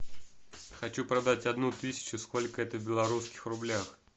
хочу продать одну тысячу сколько это в белорусских рублях